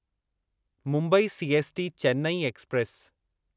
Mumbai CST Chennai express